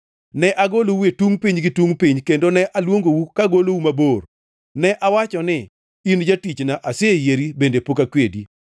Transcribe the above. ne agolou e tungʼ piny gi tungʼ piny, kendo ne aluongou kagolou mabor. Ne awacho ni, ‘In jatichna’; aseyieri bende pok akwedi.